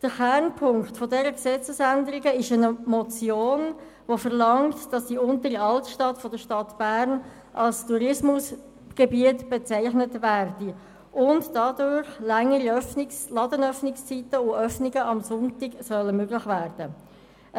Kernpunkt dieser Gesetzesänderung ist eine Motion , die verlangt, dass die Untere Altstadt von Bern als Tourismusgebiet bezeichnet wird, wodurch längere Ladenöffnungszeiten sowie Sonntagsverkäufe möglich werden sollen.